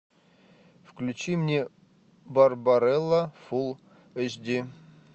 включи мне барбарелла фул эйч ди